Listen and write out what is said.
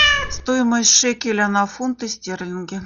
стоимость шекеля на фунты стерлинги